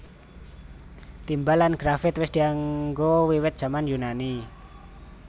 Timbal lan grafit wis dianggo wiwit jaman Yunani